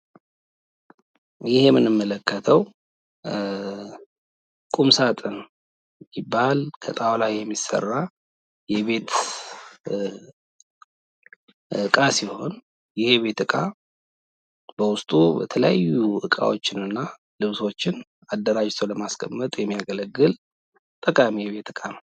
ይህ የምንመለከተዉ ቁም ሳጥን ይባላል። ከጣዉላ የሚሰራ የቤት እቃ ሲሆን ይህ የቤት በዉስጡ የተለያዩ እቃዎችን እና ልብሶችን አደራጅቶ ለማስቀመጥ የሚያገለግል ጠቃሚ የቤት እቃ ነዉ።